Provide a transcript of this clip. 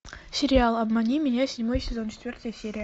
сериал обмани меня седьмой сезон четвертая серия